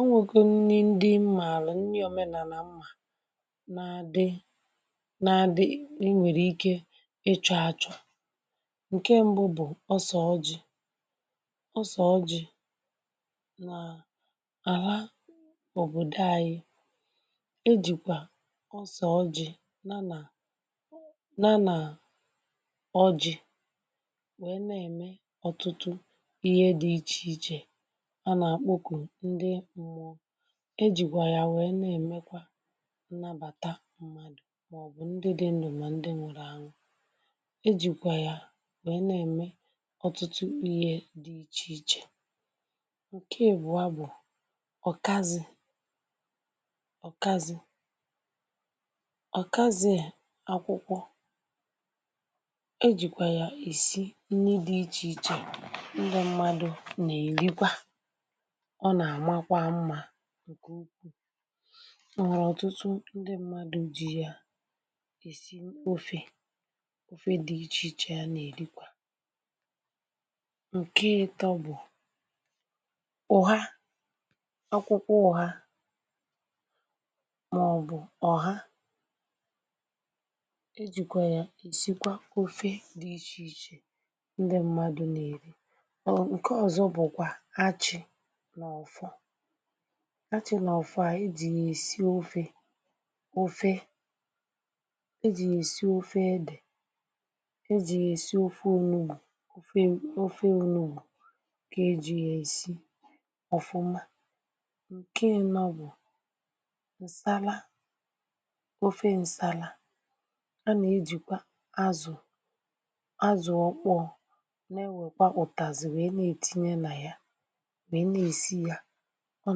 o nwègo nni ndi mmààlà nni òmenàlà mmà nà àdị nà àdị ị nwèrè ike ị chọ̀ achọ̀ ǹke mbụ bụ̀ ose ọjị. ose ọjị nà àla òbòdo anyị e jìkwà ose ọjị ya nà ya nà ọjị wee n'eme ọ̀tụ̀tụ̀ ihe di iche iche; a na akpoku ndi mmụọ e jìkwà ya wèe na-èmekwa nnabàta mmadụ̀ màọbụ̀ ndị dị ndụ màọbụ ndị nwụrụ anwụ̀ e jìkwà ya wèe na-ème ọtụtụ ihe dị ichè ichè ǹke ịbùa bụ̀ ọ̀kazị ọ̀kazị ọ̀kazị a, akwụkwọ e jìkwà ya esi nri dị̇ ichè ichè ndị mmadụ̇ nà-èrikwa ọ̀ n'amakwa mma ǹkè ukwuù o nwere ọ̀tụtụ ndị mmadụ̇ ji ya e si ofe ofe dị̇ ichè ichè a nà-èrikwa ǹke ị̇tọ bụ̀ ụha, akwụkwọ ụha, màọbụ̀ ọ̀ha e jìkwaya e sikwa ofe dị̇ ichè ichè ndị mmadụ̇ nà-èri nke ọ̀zọ̀ bukwa achị̇ nà ọfọ, achị̇ nà ọfọ a ejì yà-èsi ofe, ofe e jì yà-èsi ofe edè e jì yà-èsi ofe onugbù ofe ofe onugbù kà e jì yà-èsi ọ̀fụma ǹke ịnọ bụ̀ ǹsala ofe ǹsala a nà-ejìkwa azụ̀, azụ̀ ọkpọ na-ewèkwa ụ̀tazì wèe na-etinye nà ya wee n'esi ya ọ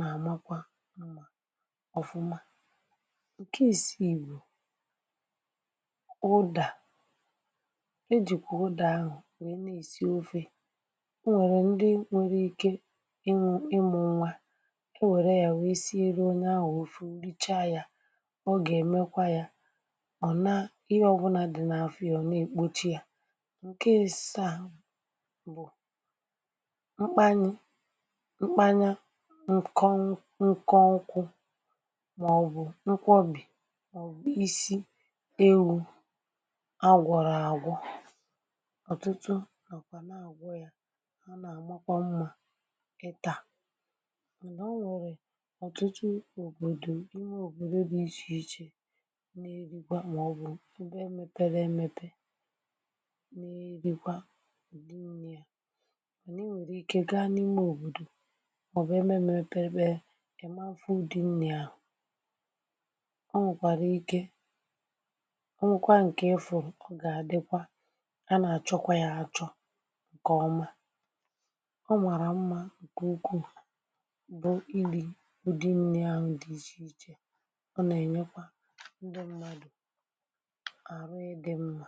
nà-àmakwa mmȧ ọ̀fụma ǹke ìsii bụ ụdà e jìkwà ụdà ahụ̀ nwèe na-èsi ofė o nwèrè ndị nwere ike ịnwụ̇ ịmụ̇ nwa ị wèrè ya wèe siere onye ahụ̀ òfe o richaa yȧ ọ gà-èmekwa ya ọ̀ na ihe ọbụnȧ dị n’afọ ya ọ̀ na-èkpochi ya ǹke ịsaa bụ̀ mkpanye mkpanya nkọ nkọ nkwụ̇ màọbụ̀ nkwọbì ọ̀bụ̀ isi ewu̇ a gwọ̀rọ̀ àgwọ ọ̀tụtụ nokwà na-àgwọ yȧ ha nà-àmakwa mmȧ ịtà nwere ọ̀tụtụ òbòdò ime òbòdo dị ichè ichè n’erikwa màọbụ̇ ebe mepere emepè n’erikwa ụdị nni mana ị nwèrè ike gaa n’ime òbòdò ẹ̀bẹ ịmanfụ ụdị nni ȧhụ̇ ọ nwẹ̀kwàrà ike ọ nwekwa ǹkè ịfụ̀ ọ gà-àdịkwa, a nà-àchọkwa yȧ àchọ ǹkẹ̀ ọma ọ màrà mmȧ ǹkẹ̀ ukwuu bụ ili̇ ụdị nni ȧhụ̇ dị ichè ichè ọ nà-ènyekwa ndị mmadụ̀ àrụ ị dị mmȧ.